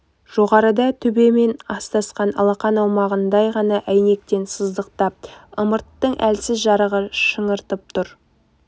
жоғарыда төбемен астасқан алақан аумағындай ғана әйнектен сыздықтап ымырттың әлсіз жарығы шаңытып тұр